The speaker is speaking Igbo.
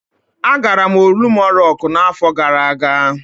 Agara m Olumo Rocku n'afọ gara aga.